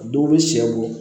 Dɔw bɛ sɛ bɔ